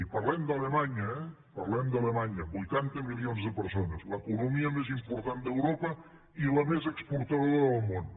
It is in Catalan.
i parlem d’alemanya eh parlem d’alemanya vuitanta milions de persones l’economia més important d’europa i la més exportadora del món